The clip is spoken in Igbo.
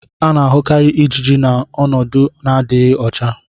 a na-ahụkarị ijiji n' ọnọdụ n'adịghị ọcha.